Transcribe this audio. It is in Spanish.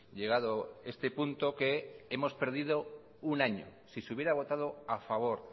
llegado este punto que hemos perdido un año si se hubiera votado a favor